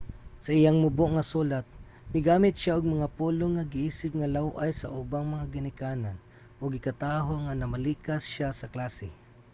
sa iyang mubo nga sulat migamit siya og mga pulong nga giisip nga law-ay sa ubang mga ginikanan ug gikataho nga namalikas siya sa klase